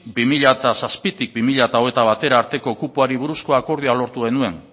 bi mila zazpitik bi mila hogeita batera arteko kupoari buruzko akordioa lortu genuen